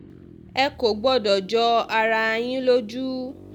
ẹ kò gbọ́dọ̀ jọ ara yín lójú